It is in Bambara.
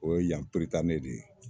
O ye yan de ye